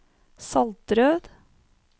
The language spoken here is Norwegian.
Saltrød